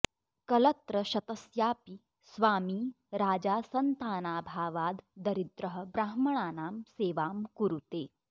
कलत्रशतस्यापि स्वामी राजा सन्तानाभावाद् दरिद्रः ब्राह्मणानां सेवां कुरुते